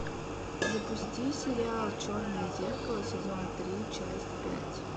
запусти сериал черное зеркало сезон три часть пять